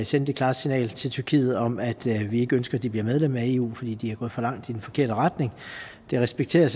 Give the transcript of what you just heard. sende det klare signal til tyrkiet om at vi ikke ønsker at de bliver medlem af eu fordi de er gået for langt i den forkerte retning det respekterer